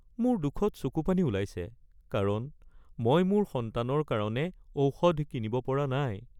মোৰ দুখত চকুপানী ওলাইছে কাৰণ মই মোৰ সন্তানৰ কাৰণে ঔষধ কিনিব পৰা নাই। (গ্ৰাহক)